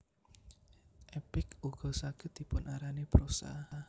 Epik ugo saged dipun arani prosa